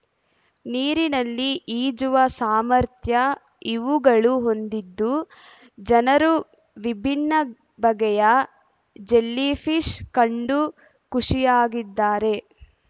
ನೀರಿನಲ್ಲಿ ಈಜುವ ಸಾಮರ್ಥ್ಯ ಇವುಗಳು ಹೊಂದಿದ್ದು ಜನರು ವಿಭಿನ್ನ ಬಗೆಯ ಜೆಲ್ಲಿ ಫಿಶ್ ಕಂಡು ಖುಷಿಯಾಗಿದ್ದಾರೆ